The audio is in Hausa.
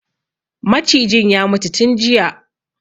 Macijin ya mutu tun jiya